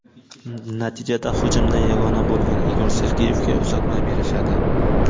Natijada hujumda yagona bo‘lgan Igor Sergeyevga uzatma berishadi.